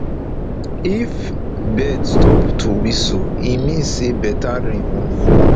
if bird stop to whistle e mean say better rain wan fall